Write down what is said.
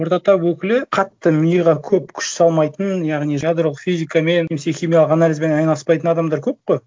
орта тап өкілі қатты миға көп күш салмайтын яғни ядролық физикамен немесе химиялық анализбен айналыспайтын адамдар көп қой